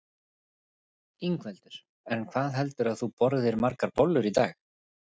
Ingveldur: En hvað heldurðu að þú borðir margar bollur í dag?